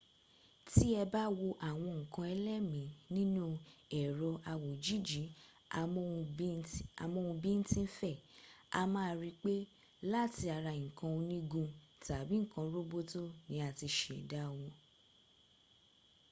tí ẹ bá wo àwọn nǹkan ẹlẹ́mìí nínú ẹ̀rọ-awòjìji-amóhun-bín-tín-fẹ̀ a máa rí pé láti ara nnkan onígun tàbí nǹkan roboto ni a ti ṣẹ̀dá wọ